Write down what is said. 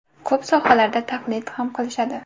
Ko‘p sohalarda taqlid ham qilishadi.